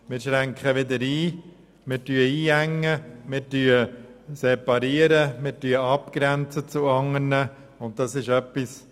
Wir würden einengen und einschränken und uns gegenüber anderen abgrenzen.